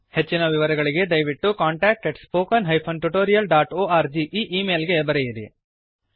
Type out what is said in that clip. ಹೆಚ್ಚಿನ ವಿವರಗಳಿಗೆ ದಯವಿಟ್ಟು contact at spoken hyphen tutorial dot org ಈ ಈ ಮೇಲ್ ಗೆ ಬರೆಯಿರಿ